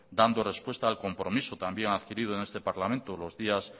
dando respuesta al compromiso también adquirido en este parlamento los días